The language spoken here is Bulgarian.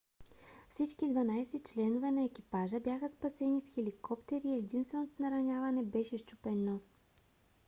всички 12 членове на екипажа бяха спасени с хеликоптери и единственото нараняване беше счупен нос